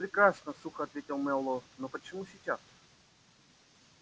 прекрасно сухо ответил мэллоу но почему сейчас